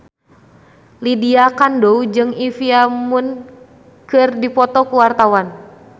Lydia Kandou jeung Olivia Munn keur dipoto ku wartawan